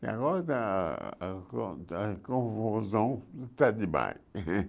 E agora está a con a confusão está demais.